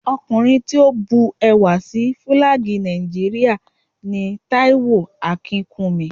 Ọkùnrin tí ó bu ẹwà sí Fílàgì Nàìjíríà ni Táíwò Akínkúnmi